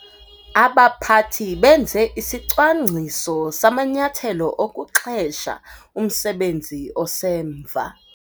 Abaphathi benze isicwangciso samanyathelo okuxhesha umsebenzi osemva.